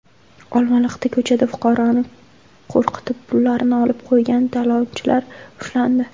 Olmaliqda ko‘chada fuqaroni qo‘rqitib, pullarini olib qo‘ygan talonchilar ushlandi.